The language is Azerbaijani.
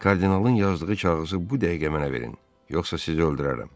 Kardinalın yazdığı kağızı bu dəqiqə mənə verin, yoxsa sizi öldürərəm.